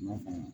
N'a faamuya